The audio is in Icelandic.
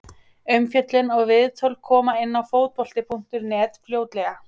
Umfjöllun og viðtöl koma inn á Fótbolti.net fljótlega.